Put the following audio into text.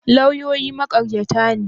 Lauyoyi maƙaryata ne?